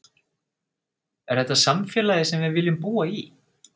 Er þetta samfélagið sem við viljum búa í?